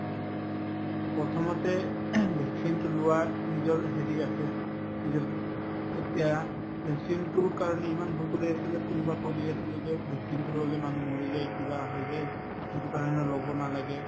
প্ৰথমতে vaccine তো লোৱা নিজৰ হেৰি আছে নিজৰ এতিয়া vaccine তোৰ কাৰণে ইমান ভয় কৰি আছিলে কোনোবাই কৈ দি আছিলে যে vaccine তো ললে মানুহ মৰি যায় কিবা হৈ যায় সিটোৰ কাৰণে লব নালাগে